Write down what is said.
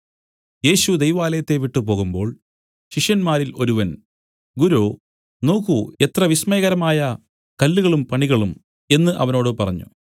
യേശു ദൈവാലയത്തെ വിട്ടു പോകുമ്പോൾ ശിഷ്യന്മാരിൽ ഒരുവൻ ഗുരോ നോക്കൂ എത്ര വിസ്മയകരമായ കല്ലുകളും പണികളും എന്നു അവനോട് പറഞ്ഞു